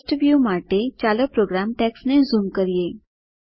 સ્પષ્ટ વ્યુ માટે ચાલો પ્રોગ્રામ ટેક્સ્ટને ઝૂમ કરીએ